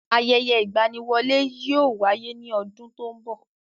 Ayẹyẹ ìgbaniwọlé yóò wáyé ní ọdún tó ń bọ̀.